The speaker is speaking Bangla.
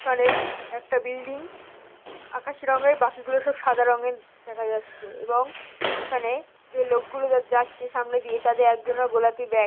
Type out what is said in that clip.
এখানে একটা বিল্ডিং আকাশ রঙের বাকিগুলো সব সাদা রঙের দেখা যাচ্ছে এবং এখানে যে লোকগুলো যাচ্ছে সামনে দিয়ে তাদের একজনার গোলাপি ব্যাগ ।